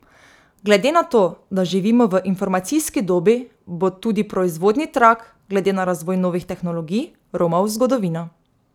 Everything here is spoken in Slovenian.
Glede na to, da živimo v informacijski dobi, bo tudi proizvodni trak, glede na razvoj novih tehnologij, romal v zgodovino.